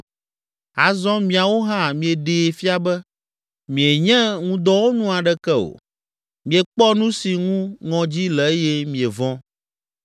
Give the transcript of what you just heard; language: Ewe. Azɔ miawo hã mieɖee fia be, mienye ŋudɔwɔnu aɖeke o, miekpɔ nu si ŋu ŋɔdzi le eye mievɔ̃.